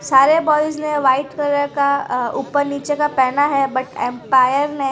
सारे बॉयज ने white colour का ऊपर नीचे का पहना है अ बट अंपायर ने --